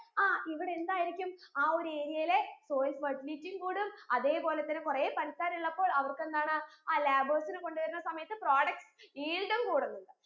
ആ ഇവിടെ എന്തായിരിക്കും ആ ഒരു area യിലെ soil fertility യും കൂടും അതെ പോലെ തന്നെ കൊറേ പണിക്കാറുള്ളപ്പോൾ അവർക്ക് എന്താണ് ആ labours നെ കൊണ്ട് വരുന്ന സമയത്ത് products yield ഉം കൂടുന്നു